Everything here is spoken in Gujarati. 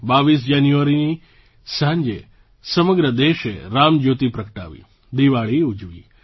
22 જાન્યુઆરીની સાંજે સમગ્ર દેશે રામજ્યોતિ પ્રગટાવી દિવાળી ઉજવી